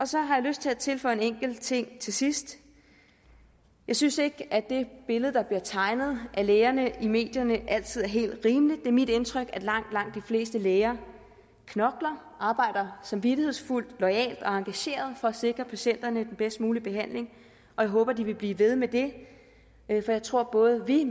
så har jeg lyst til at tilføje en enkelt ting til sidst jeg synes ikke at det billede der bliver tegnet af lægerne i medierne altid er helt rimeligt det er mit indtryk at langt langt de fleste læger knokler arbejder samvittighedsfuldt loyalt og engageret for at sikre patienterne den bedst mulige behandling jeg håber at de vil blive ved med det jeg tror at både vi